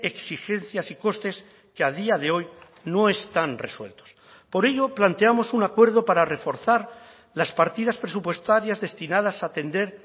exigencias y costes que a día de hoy no están resueltos por ello planteamos un acuerdo para reforzar las partidas presupuestarias destinadas a atender